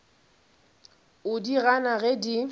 o di gana ge di